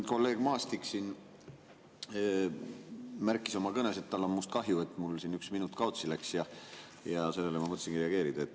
Kolleeg Maastik märkis oma kõnes, et tal on minust kahju, et mul üks minut kaotsi läks, ja sellele ma mõtlesingi reageerida.